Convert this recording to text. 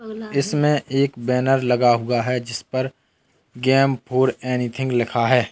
इसमें एक बैनर लगा हुआ है जिसपर गेम फोर एनीथिंग लिखा है।